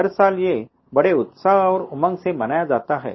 हर साल ये बड़े उत्साह और उमंग से मनाया जाता है